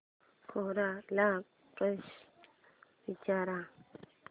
कोरा ला प्रश्न विचार